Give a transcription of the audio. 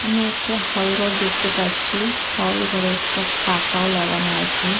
আমি একটা হল ঘর দেখতে পাচ্ছি। হল ঘরে একটা পাখাও লাগানো আছে।